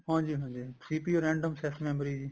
ਹਾਂਜੀ ਹਾਂਜੀ CPU random access memory ਜੀ